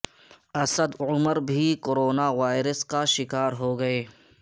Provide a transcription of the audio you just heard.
اسد عمر بھی corona virus کا شکار ہو گئے